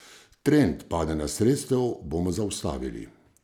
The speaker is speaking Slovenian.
Trend padanja sredstev bomo zaustavili.